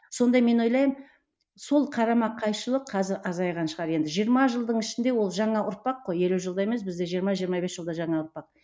сонда мен ойлаймын сол қарама қайшылық қазір азайған шығар енді жиырма жылдың ішінде ол жаңа ұрпақ қой елу жылда емес бізде жиырма жиырма бес жылда жаңа ұрпақ